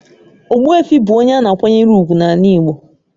Ogbuefi bụ onye a na-akwanyere ùgwù n'ala igbo.